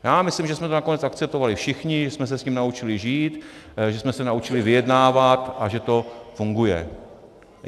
Já myslím, že jsme to nakonec akceptovali všichni, že jsme se s tím naučili žít, že jsme se naučili vyjednávat a že to funguje.